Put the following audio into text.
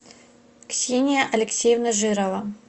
ксения алексеевна жирова